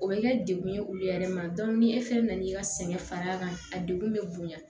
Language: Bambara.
O bɛ kɛ dekun ye olu yɛrɛ ma ni e fɛn fɛn n'i ka sɛgɛn far'a kan a degun bɛ bonya